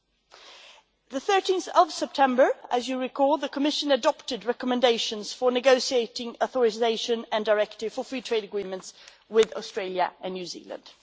On 13 September, as you recall, the Commission adopted recommendations for negotiating authorisations and directives for free trade agreements with Australia and New Zealand.